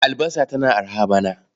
Albasa tana araha bana.